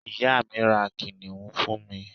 ìyá mi, ra kìnìún fún mi